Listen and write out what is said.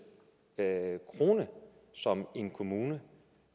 krone som en kommune